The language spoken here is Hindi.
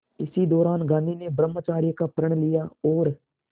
इसी दौरान गांधी ने ब्रह्मचर्य का प्रण लिया और